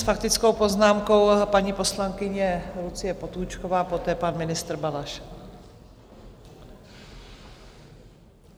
S faktickou poznámkou paní poslankyně Lucie Potůčková, poté pan ministr Balaš.